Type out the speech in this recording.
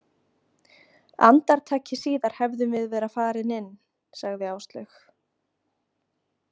Andartaki síðar hefðum við verið farin inn, sagði Áslaug.